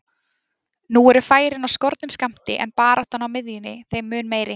Nú eru færin á skornum skammti en baráttan á miðjunni þeim mun meiri.